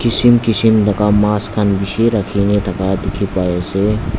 kishim kishim laga mass kan bishi rakina diki pai asae.